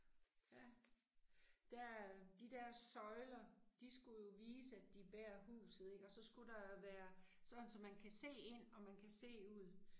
Ja. Der øh, de der søjler, de skulle jo vise at de bærer huset ik og så skulle der være sådan så man kan se ind og man kan se ud